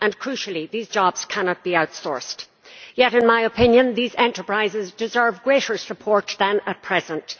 Crucially, these jobs cannot be outsourced. Yet in my opinion, these enterprises deserve greater support than at present.